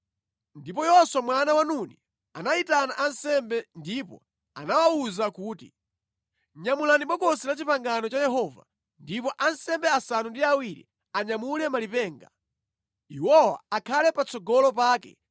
Ndipo Yoswa mwana wa Nuni anayitana ansembe ndipo anawawuza kuti, “Nyamulani Bokosi la Chipangano cha Yehova ndipo ansembe asanu ndi awiri anyamule malipenga. Iwowa akhale patsogolo pake.”